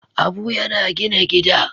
Abu yana gina gida.